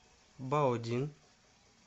баодин